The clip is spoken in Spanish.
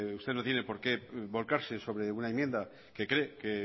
usted no tiene por qué volcarse sobre una enmienda que cree